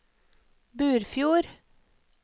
Burfjord